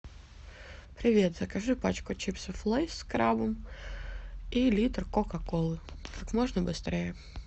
привет закажи пачку чипсов лейс с крабом и литр кока колы как можно быстрее